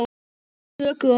Nokkur dönsk tökuorð